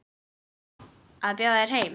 Að bjóða þér heim.